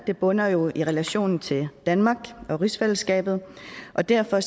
bunder jo i relationen til danmark og rigsfællesskabet og derfor